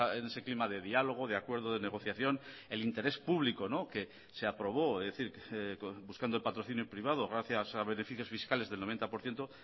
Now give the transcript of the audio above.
en ese clima de diálogo de acuerdo de negociación el interés público que se aprobó es decir buscando el patrocinio privado gracias a beneficios fiscales del noventa por ciento